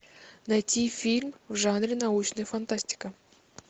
найти фильм в жанре научная фантастика